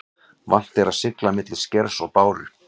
Vant er að sigla milli skers og báru.